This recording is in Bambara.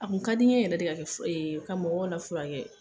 A k'u ka di n ye yɛrɛ de ka kɛ fura ka mɔgɔ lafura kɛ